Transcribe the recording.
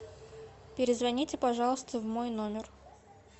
перезвоните пожалуйста в мой номер